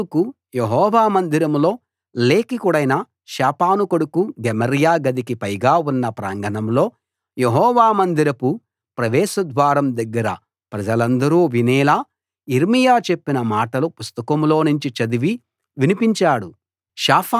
బారూకు యెహోవా మందిరంలో లేఖికుడైన షాఫాను కొడుకు గెమర్యా గదికి పైగా ఉన్న ప్రాంగణంలో యెహోవా మందిరపు ప్రవేశ ద్వారం దగ్గర ప్రజలందరూ వినేలా యిర్మీయా చెప్పిన మాటలు పుస్తకంలోనుంచి చదివి వినిపించాడు